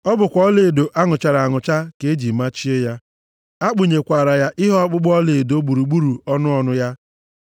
Ọ bụkwa ọlaedo a nụchara anụcha ka e ji machie ya. A kpụnyekwara ihe ọkpụkpụ ọlaedo gburugburu ọnụ ọnụ ya.